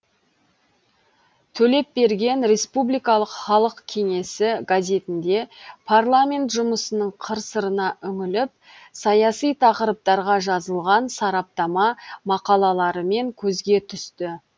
төлепберген республикалық халық кеңесі газетінде парламент жұмысының қыр сырына үңіліп саяси тақырыптарға жазылған сараптама мақалаларымен көзге түсті